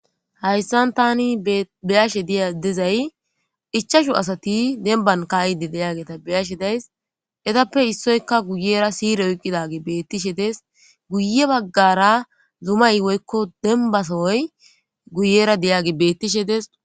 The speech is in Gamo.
hayssan tani beyashe diya dizay ichashu asati demban kaayide deyageta beyashe days etappe issoyka guyera siire oyqqidage beettishe dees guye baggara zumay woykko dembasooy guyera deyage bettishe deso